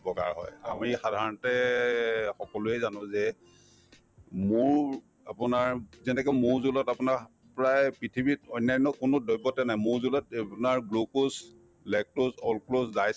বহুত বগা হয় আমি সাধাৰণতে সকলোয়ে জানো যে মৌৰ আপোনাৰ যেনেকে মৌৰ জৌলত আপোনাৰ প্ৰায় পৃথিৱীত অন্যান্য কোনো দ্ৰৱতে নাই মৌৰ জৌলত আপোনাৰ glucose, lactose,